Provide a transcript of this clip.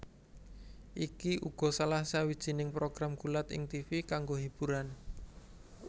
Iki uga salah sawijing program gulat ing tivi kanggo hiburan